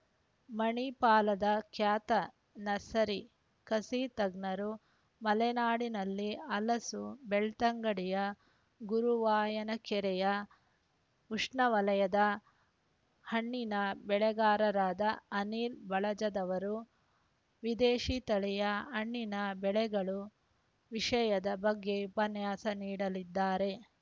ಮಣಿಪಾಲದ ಖ್ಯಾತ ನರ್ಸರಿ ಕಸಿತಜ್ಞರು ಮಲೆನಾಡಿನಲ್ಲಿ ಹಲಸು ಬೆಳ್ತಂಗಡಿಯ ಗುರುವಾಯನಕೆರೆಯ ಉಷ್ಣವಲಯದ ಹಣ್ಣಿನ ಬೆಳೆಗಾರರಾದ ಅನಿಲ್‌ ಬಳಂಜದವರು ವಿದೇಶಿ ತಳಿಯ ಹಣ್ಣಿನ ಬೆಳೆಗಳು ವಿಷಯದ ಬಗ್ಗೆ ಉಪನ್ಯಾಸ ನೀಡಲಿದ್ದಾರೆ